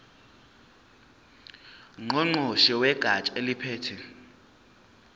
ngqongqoshe wegatsha eliphethe